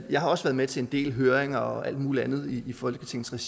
jeg har også været med til en del høringer og alt muligt andet i folketingsregi